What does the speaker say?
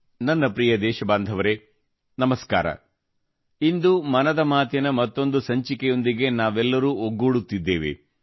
ನನ್ನ ಪ್ರಿಯ ದೇಶಬಾಂಧವರೆ ನಮಸ್ಕಾರ ಇಂದು ಮನದ ಮಾತಿನ ಮತ್ತೊಂದು ಸಂಚಿಕೆಯೊಂದಿಗೆ ನಾವೆಲ್ಲರೂ ಒಗ್ಗೂಡುತ್ತಿದ್ದೇವೆ